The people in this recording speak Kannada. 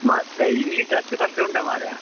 ಮತ್ತೆ English ಅಷ್ಟು ಕಷ್ಟ ಉಂಟಾ ಮಾರಾಯ.